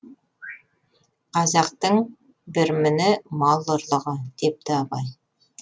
қазақтың бір міні мал ұрлығы депті абай